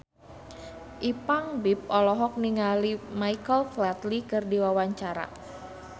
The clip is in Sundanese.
Ipank BIP olohok ningali Michael Flatley keur diwawancara